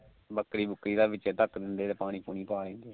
ਬੱਕਰੀ ਬੁਕਰੀ ਦਾ ਵਿਚੇ ਧੱਕ ਦਿੰਦੇ ਪਾਣੀ ਪਾ ਦਿੰਦੇ